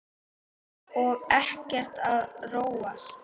Og ekkert að róast?